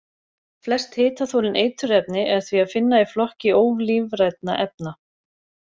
Flest hitaþolin eiturefni er því að finna í flokki ólífrænna efna.